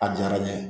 A diyara n ye